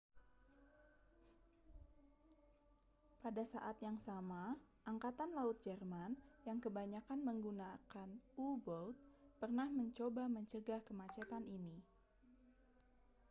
pada saat yang sama angkatan laut jerman yang kebanyakan menggunakan u-boat pernah mencoba mencegah kemacetan ini